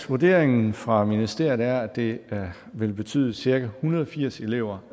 vurderingen fra ministeriet er at det vil betyde at cirka en hundrede og firs elever